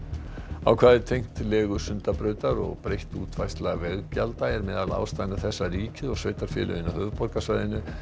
ákvæði tengt legu Sundabrautar og breytt útfærsla veggjalda er meðal ástæðna þess að ríkið og sveitarfélögin á höfuðborgarsvæðinu